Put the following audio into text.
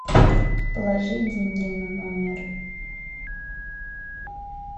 положи деньги на номер